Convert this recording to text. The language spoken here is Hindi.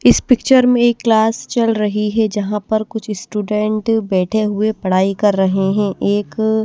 इस पिक्चर में क्लास चल रही है जहां पर कुछ स्टूडेंट बैठे हुए पढ़ाई कर रहे हैं एक--